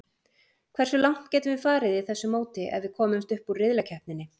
Hversu langt getum við farið í þessu móti ef við komumst upp úr riðlakeppninni?